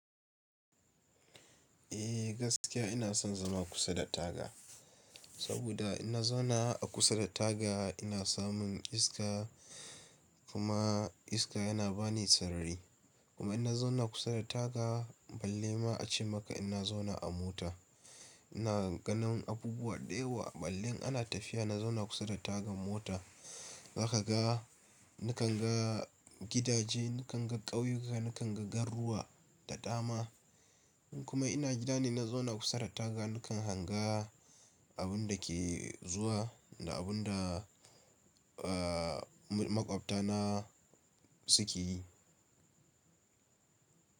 Eh gaskiya ina son zama kusa da taga, saboda inna zauna a kusa da taga ina samun iska kuma iska yana ba ni sarari. Kuma ina zauna kusa da taga balle ma a ce maka ina zauna a mota. Ina ganin abubuwa da yawa ballin ana tafiya na zauna kusa da tagan mota. Na ka ga, na kan ga gidaje, na kan ga ƙauyuka, na kan ga garuwa da dama. Kuma ina gida ne na zauna kusa da taga na kan hanga abun da ke zuwa da abun da, aa, maƙwabta na suke yi.